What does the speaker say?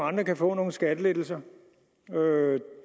andre kan få nogle skattelettelser